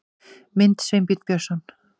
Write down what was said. Mynd: Sveinbjörn Björnsson